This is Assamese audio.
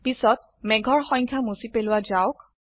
পিছত মেঘৰ সংখ্যা মুছি পেলোৱা যাওক